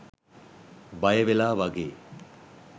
බය වෙලා වගේ?